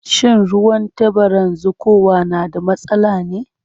Shin ruwan tabaran zuƙowa na da matsala ne?